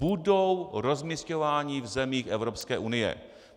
Budou rozmisťováni v zemích Evropské unie.